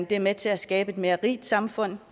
det er med til at skabe et mere rigt samfund